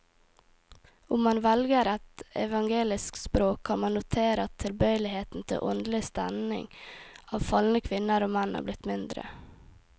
Om man velger et evangelisk språk, kan man notere at tilbøyeligheten til åndelig stening av falne kvinner og menn er blitt mindre.